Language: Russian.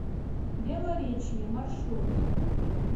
белоречье маршрут